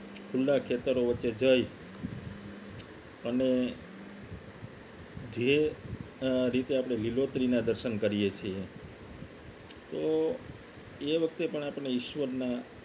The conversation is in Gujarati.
ખુલ્લા ખેતરો વચ્ચે જઈ અને જે રીતે આપણે લીલોતરી ના દર્શન કરીએ તો એ વખતે પણ આપણે ઈશ્વરના